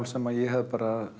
sem ég hafði